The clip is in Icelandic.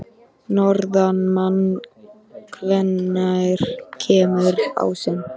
Norðmann, hvenær kemur ásinn?